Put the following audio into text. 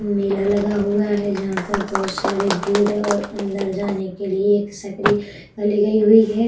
मेला लगा हुआ है जहां पर बहुत सारी भीड़ है और अंदर जाने के लिए एक सक्रियतली हुई है।